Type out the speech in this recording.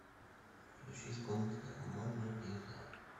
включи исполнителя монолиза